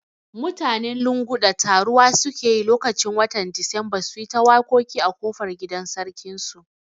Mutanen Lunguda taruwa suke yi lokaci watan Disamba suyi ta waƙoƙi a kofar gidan sarkin su